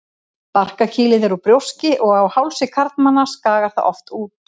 Barkakýlið er úr brjóski og á hálsi karlmanna skagar það oft út.